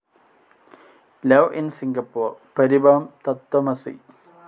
love in Singapore, Paribhavam, Tattvamasi